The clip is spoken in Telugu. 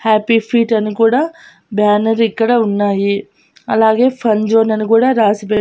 హ్యాపీ ఫీట్ అని కూడా బ్యానర్ ఇక్కడ ఉన్నాయి అలాగే ఫన్ జోన్ అని కూడా రాసిపెట్టి.